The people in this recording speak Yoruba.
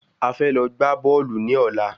A fẹ́ lọ gbá bọ́ọ̀lù ní ọ̀la